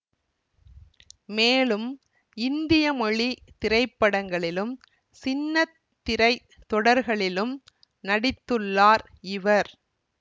மேலும் இந்திய மொழி திரைப்படங்களிலும் சின்னத் திரை தொடர்களிலும் நடித்துள்ளார் இவர்